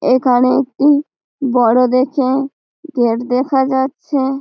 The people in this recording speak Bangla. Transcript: এইখানে একটি বড়ো দেখে গেট দেখা যাচ্ছে ।